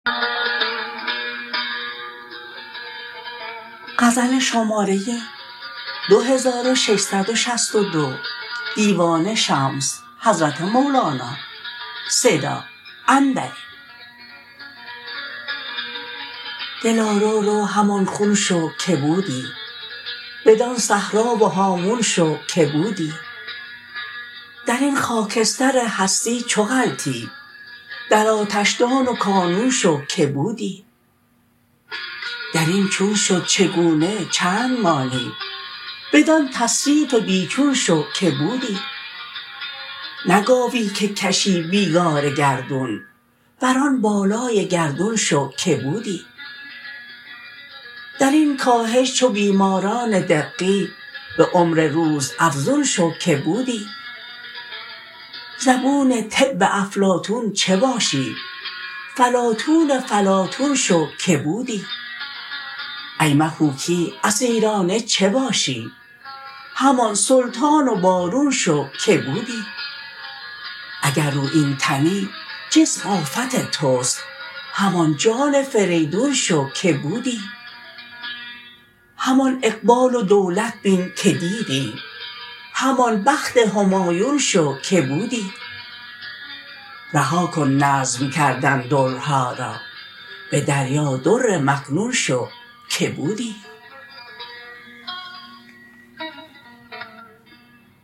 دلا رو رو همان خون شو که بودی بدان صحرا و هامون شو که بودی در این خاکستر هستی چو غلطی در آتشدان و کانون شو که بودی در این چون شد چگونه چند مانی بدان تصریف بی چون شو که بودی نه گاوی که کشی بیگار گردون بر آن بالای گردون شو که بودی در این کاهش چو بیماران دقی به عمر روزافزون شو که بودی زبون طب افلاطون چه باشی فلاطون فلاطون شو که بودی ایم هو کی اسیرانه چه باشی همان سلطان و بارون شو که بودی اگر رویین تنی جسم آفت توست همان جان فریدون شو که بودی همان اقبال و دولت بین که دیدی همان بخت همایون شو که بودی رها کن نظم کردن درها را به دریا در مکنون شو که بودی